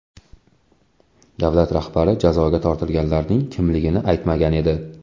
Davlat rahbari jazoga tortilganlarning kimligini aytmagan edi.